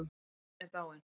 Amma er dáin